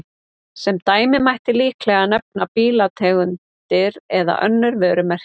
Sem dæmi mætti líklega nefna bílategundir eða önnur vörumerki.